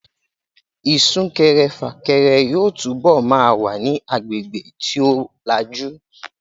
Isúkẹrẹ fàkẹrẹ yóò túbọ̀ ma wà ní agbègbè tí ó lajú